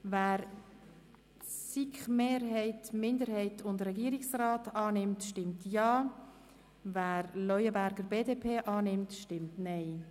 Wer die Anträge der SiK-Mehrheit, der SiKMinderheit und des Regierungsrats unterstützt, stimmt Ja, wer den Antrag der BDP unterstützt, stimmt Nein.